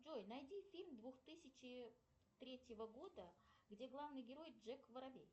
джой найди фильм двух тысячи третьего года где главный герой джек воробей